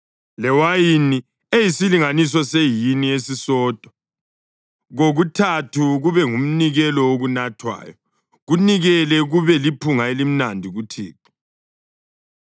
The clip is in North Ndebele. lewayini eliyisilinganiso sehini esisodwa kokuthathu kube ngumnikelo wokunathwayo. Kunikele kube liphunga elimnandi kuThixo.